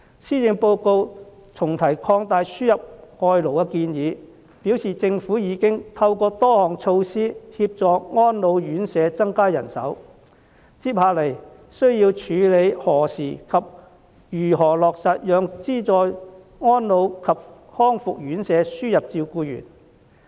施政報告重提擴大輸入外勞的建議，表示政府已經透過多項措施協助安老院舍增加人手，接下來需要處理的是何時及如何落實讓資助安老及復康院舍輸入照顧員。